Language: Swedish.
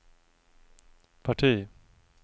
parti